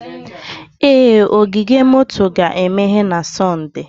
Ee, ogige moto ga-emeghe na Sọnde